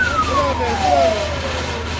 Gəlin qabağa, qabağa.